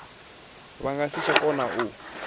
nga si tsha kona u